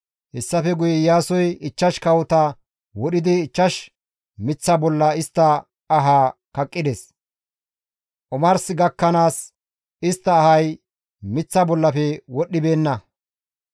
Hessafe guye Iyaasoy ichchash kawota wodhidi ichchash miththa bolla istta ahaa kaqqides; omarsi gakkanaas istta ahay miththa bollafe wodhdhibeenna.